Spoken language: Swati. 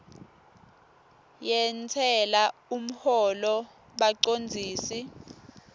yentsela umholo bacondzisi